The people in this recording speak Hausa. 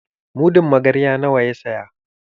Mudun magarya nawa ya saya?